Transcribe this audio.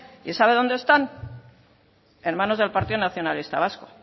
y sabe dónde están en manos del partido nacionalista vasco